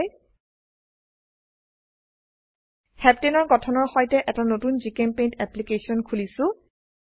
হেপ্তানে heptane এৰ গঠনৰ সৈতে এটা নতুন জিচেম্পেইণ্ট অ্যাপ্লিকেশন খুলিছো